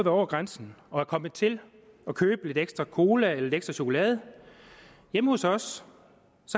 over grænsen og er kommet til at købe lidt ekstra cola eller lidt ekstra chokolade hjemme hos os